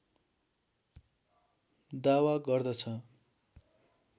दावा गर्दछ